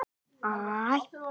Mér fannst Nonni gjörbreyttur.